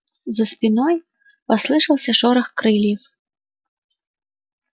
за спиной послышался шорох крыльев